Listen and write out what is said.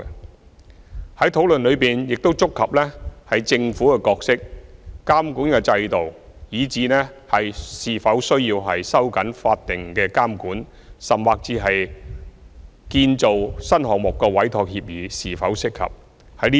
有關的討論亦觸及政府的角色、監管制度、是否需要收緊法定監管，甚至建造新項目的委託協議是否適合等議題。